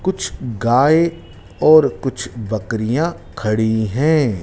कुछ गाय और कुछ बकरियां खड़ी है।